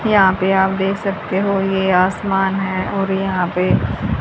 यहां पे आप देख सकते हो ये आसमान है और यहां पे--